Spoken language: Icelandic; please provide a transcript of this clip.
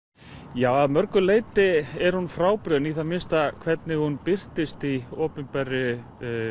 já að mörgu leyti er hún frábrugðin í það minnsta hvernig hún birtist í opinberri